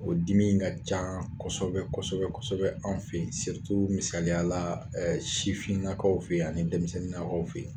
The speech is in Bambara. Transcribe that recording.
O dimi ka caan kɔsɛbɛ kɔsɛbɛ kɔsɛbɛ anw fe ye misaliyala sifinnakaw fe ye ani dɛmisɛnninnakaw fe ye.